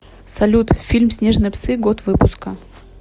салют фильм снежные псы год выпсука